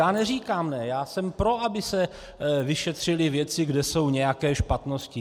Já neříkám ne, já jsem pro, aby se vyšetřily věci, kde jsou nějaké špatnosti.